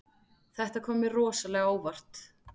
Þetta kom mér rosalega á óvart